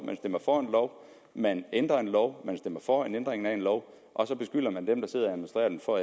man stemmer for en lov man ændrer en lov man stemmer for en ændring af en lov og så beskylder man dem der sidder og administrerer den for